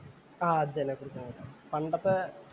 ആഹ് അത് തന്നെ കുറുക്കമ്മൂല. പണ്ടത്തെ